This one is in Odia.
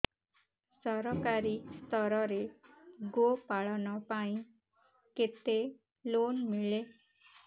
ସରକାରୀ ସ୍ତରରେ ଗୋ ପାଳନ ପାଇଁ କେତେ ଲୋନ୍ ମିଳେ